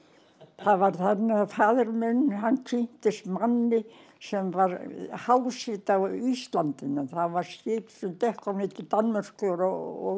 það var þannig að faðir minn kynntist manni sem var háseti á íslandinu það var skip sem gekk á milli Danmerkur og